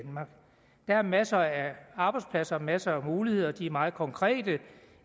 er masser af arbejdspladser og masser af muligheder og de er meget konkrete